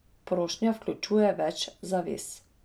Prošnja vključuje več zavez.